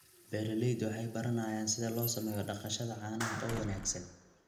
Beeraleydu waxay baranayaan sida loo sameeyo dhaqashada caanaha oo wanaagsan.